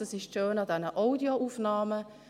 Das ist das Schöne an den Audioaufnahmen: